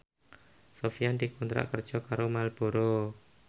Sofyan dikontrak kerja karo Marlboro